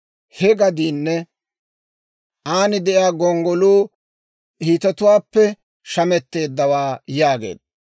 He gadiinne an de'iyaa gonggoluu Hiitetuwaappe shametteeddawaa» yaageedda.